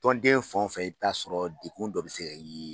Tɔnden fɛn o fɛn i bi t'a sɔrɔ dekun dɔ bɛ se ka ye